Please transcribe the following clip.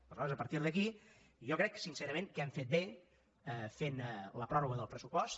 aleshores a partir d’aquí jo crec sincerament que hem fet bé fent la pròrroga del pressupost